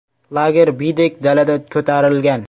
Lager biydek dalada ko‘tarilgan.